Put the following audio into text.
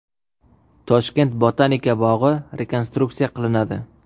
Toshkent botanika bog‘i rekonstruksiya qilinadi.